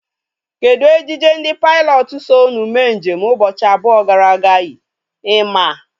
Kedụ ejije ndị pailọtụ so ụnu mee njem ụbọchị abụọ gara aga yi? Ị maa?